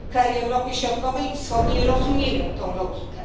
Kraje Europy Środkowej i Wschodniej rozumieją tę logikę.